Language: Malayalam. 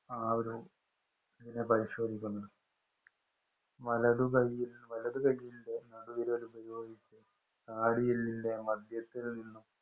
ആ ഒരു പരിശോധിക്കുന്നത്? വലതു കൈ വലതു കൈയിന്‍റെ നടുവിരല്‍ ഉപയോഗിച്ച് താടിയെല്ലിന്‍റെ മധ്യത്തില്‍ നിന്നും